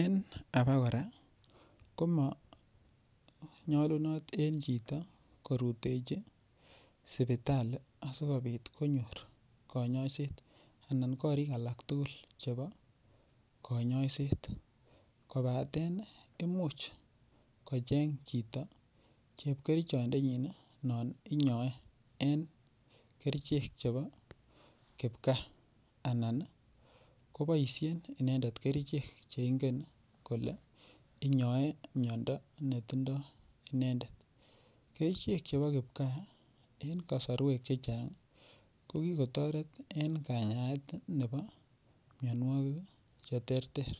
En abaora komanyolunot en chito korutechi sipitali asikobit konyor kanyoiset anan korik alak tukul chebo kanyoiset kobaten imuch kocheng' chito chepkerichodenyin no inyoen en kerichek chebo kipkaa anan koboishen inendet kerichek cheingen kole inyoen miyondo netindoi inendet kerichek chebo kipkaa eng' kosorwek chechang' kokikotoret eng' kanyaet nebo miyonwokik cheterter